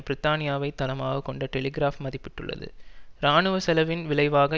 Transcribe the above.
பிரித்தானியாவை தளமாக கொண்ட டெலிகிராப் மதிப்பிட்டுள்ளது இராணுவ செலவின் விளைவாக